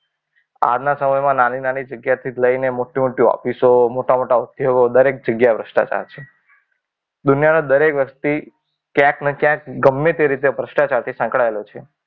આજના સમયમાં નાની નાની જગ્યાએથી લઈને મોટી મોટી ઓફિસો, મોટા મોટા ઉદ્યોગો દરેક જગ્યાએ ભ્રષ્ટાચાર છે. દુનિયાના દરેક વ્યક્તિ ક્યાંક ને ક્યાંક ગમે તે રીતે ભ્રષ્ટાચાર થી સંકળાયેલો છે.